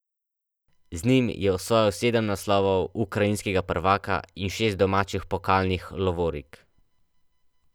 Z njim je osvojil sedem naslovov ukrajinskega prvaka in šest domačih pokalnih lovorik.